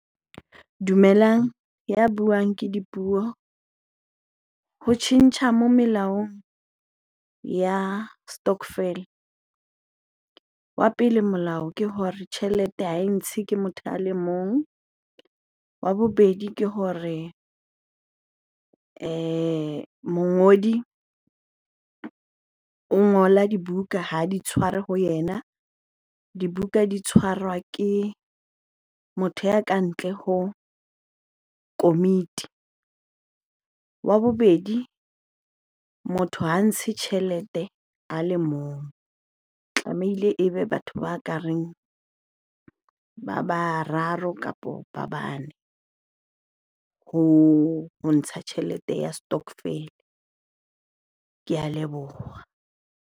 Dumelang, ya buang ke Dipuo. Ho tjhentjha mo melaong ya stokvel. Wa pele molao ke hore tjhelete ha e ntshe ke motho a le mong. Wa bobedi ke hore mongodi o ngola dibuka, ha di tshware ho yena. Dibuka di tshwarwa ke motho ya kantle ho komiti. Wa bobedi, motho ha ntshe tjhelete a le mong, tlameile ebe batho ba ka reng ba bararo kapo ba bane ho ntsha tjhelete ya stokvel. Ke a leboha.